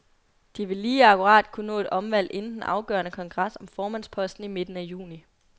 De vil lige akkurat kunne nå et omvalg inden den afgørende kongres om formandsposten i midten af juni.